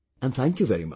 Ji thank you so much